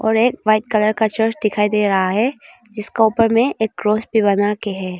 और एक white colour का चर्च दिखाई दे रहा है जिसका ऊपर में एक क्रॉस भी बना के है।